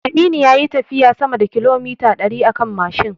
Aminu yayi tafiyan sama da kilomita ɗari akan Mashin